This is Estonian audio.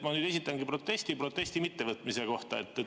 Ma nüüd esitangi protesti protesti mittevõtmise kohta.